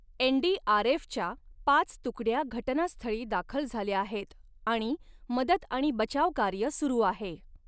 एनडीआरएफ़च्या पाच तुकड्या घटनास्थळी दाखल झाल्या आहेत आणि मदत आणि बचाव कार्य सुरु आहे